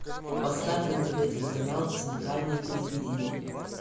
поставь на тв телеканал центральное телевидение